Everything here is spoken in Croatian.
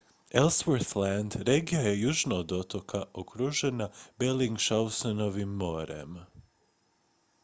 ellsworth land regija je južno od otoka okružena bellingshausenovim morem